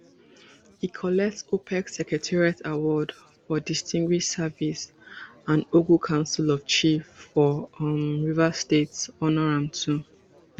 e collect opec secretariat award for distinguished service and ogu council of chiefs for um rivers state honour am too